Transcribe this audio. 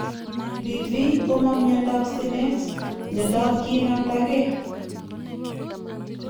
BV ko ma miandop sinet, miandap kinamda geeh